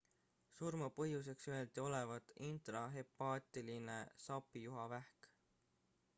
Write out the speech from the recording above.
surmapõhjuseks öeldi olevat intrahepaatiline sapijuhavähk